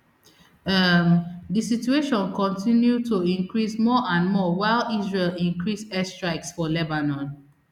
um di situation kontinu to increase more and more while israel increase airstrikes for lebanon